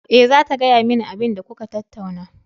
Eh, zata gaya mani abinda kuka tattauna.